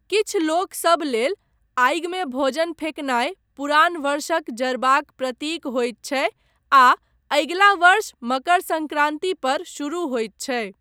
किछु लोकसभ लेल, आगिमे भोजन फेकनाय पुरान वर्षक जरबाक प्रतीक होइत छै आ अगिला वर्ष मकर सङ्क्रान्ति पर शुरू होइत छै।